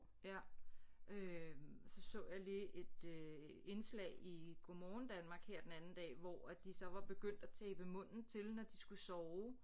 Ja øh så så jeg lige et øh indslag i Godmorgen Danmark her den anden dag hvor at de så var begyndt at tape munden til når de skulle sove